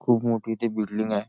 खूप मोठी इथे बिल्डिंग आहे.